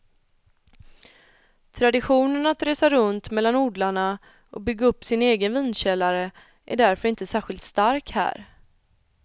Traditionen att resa runt mellan odlarna och bygga upp sin egen vinkällare är därför inte särskilt stark här.